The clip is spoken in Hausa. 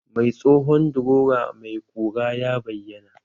Mai tsohon drowa mai ƙura ya bayyana?